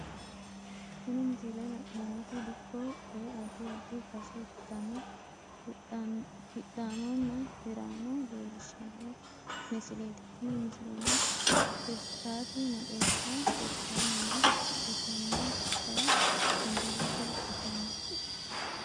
Tini misilete la`nemoti dikko woyi adi adi base ikitana hidhaanona hiraano leelishano misileeti tini misileno hirtaati maxeesa hirtani no hidhitawoti kayi zanbilete wodhitani no.